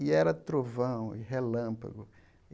E era trovão e relâmpago.